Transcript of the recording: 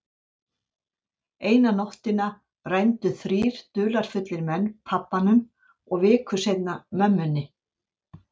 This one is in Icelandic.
Eina nóttina rændu þrír dularfullir menn pabbanum og viku seinna mömmunni.